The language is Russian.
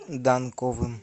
данковым